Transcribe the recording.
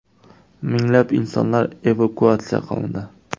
Minglab insonlar evakuatsiya qilindi.